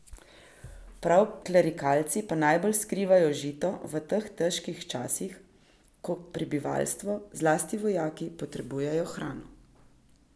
Prav klerikalci pa najbolj skrivajo žito v teh težkih časih, ko prebivalstvo, zlasti vojaki, potrebujejo hrano.